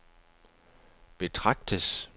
betragtes